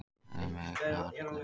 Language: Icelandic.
Ánægð með aukna athygli